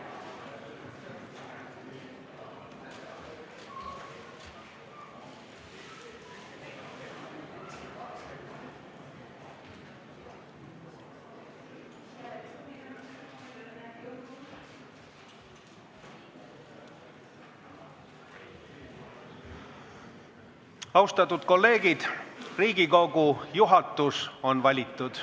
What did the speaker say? " Austatud kolleegid, Riigikogu juhatus on valitud.